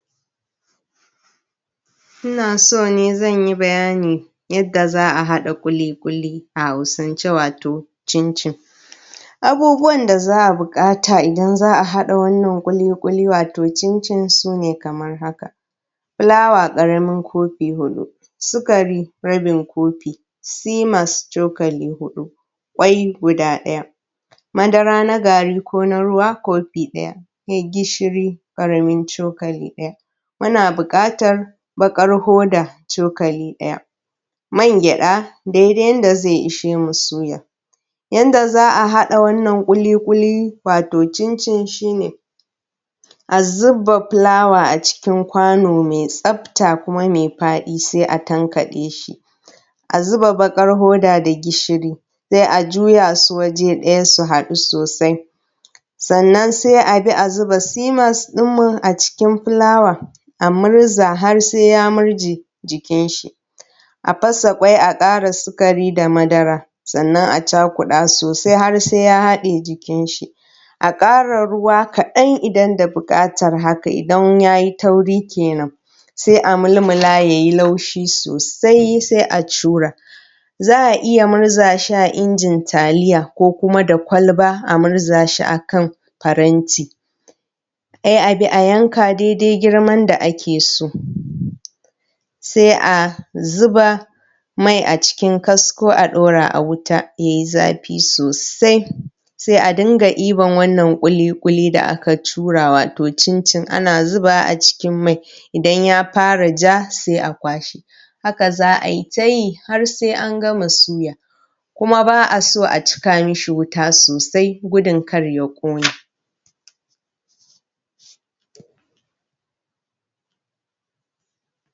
Ina so ne zan yi bayani yadda za a haɗa ƙuliƙuli a hausance wato cincin. Abubuwan da za a buƙata idan za a haɗa wannan ƙuliƙuli wato cincin sune kamar haka. Fulawa ƙaramin kofi huɗu, sikari rabin kofi, simas cokali huɗu, ƙwai guda ɗaya, madara na gari ko na ruwa kofi ɗaya, sai gishiri ƙaramin cokali ɗaya, muna buƙatar baƙar hoda cokali ɗaya, man gyaɗa dai dai yadda zai ishe mu suya. Yadda za a haɗa wannan ƙuliƙuli wato cincin shi ne. a zuba fulawa a cikin kwano mai tsafta kuma mai faɗi sai a tankaɗe shi, a zuba baƙar hoda da gishiri, sai a juya su waje ɗaya su haɗu sosai. Sannan sai a bi a zuba simas ɗin mu a cikin fulawan a murza har sai ya murje jikin shi. A fasa ƙwai a ƙara sikari da madara. Sannan a cakuɗa sosai har sai ya haɗa jikin shi, a ƙara ruwa kaɗan idan da buƙatar haka idan ya yi tauri kenan. Sai a mulmula ya yi taushi sosai sai a cura. Za a iya murza shi a injin taliya, ko kuma da kwalba a murza shi a kan faranti, sai a bi a yanka dai dai girman da ake so. Sai a zuba mai a cikin kasko a ɗaura a wuta ya yi zafi sosai, sai a dinga ɗiban wannan ƙuliƙuli da aka cura wato cincin ana zubawa a ciin mai, idan ya fara ja sai a kwashe. Haka za ai ta yi har sai an gama suya. Kuma baa so a cika masa wuta sosai gudun kar ya ƙone.